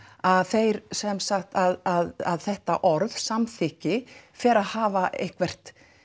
að þeir sem sagt að þetta orð samþykki fer að hafa eitthvað